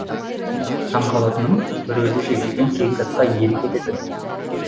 таңғалатыным бір өзі жегілген сегіз атқа иелік ететін